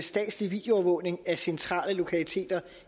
statslig videoovervågning af centrale lokaliteter